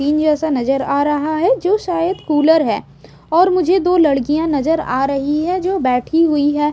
इन जैसा नजर आ रहा है जो शायद कूलर है और मुझे दो लड़कियां नजर आ रही है जो बैठी हुई है।